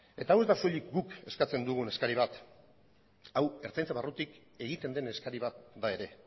eta hau ez da soilik guk eskatzen dugun eskari bat hau ertzaintza barrutik egiten den eskari bat da ere